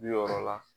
Bi wɔɔrɔ la